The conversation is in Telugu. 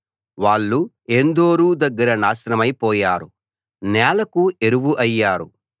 వాళ్ళు ఏన్దోరు దగ్గర నాశనమై పోయారు నేలకు ఎరువు అయ్యారు